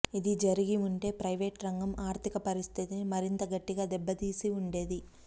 ఇది జరిగి వుంటే ప్రైవేటురంగం ఆర్థిక పరిస్థితిని మరింత గట్టిగా దెబ్బతీసి ఉండేది